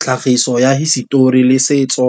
Tlhagiso ya hisetori le setso,